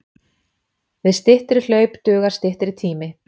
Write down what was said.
Við styttri hlaup dugar styttri tími.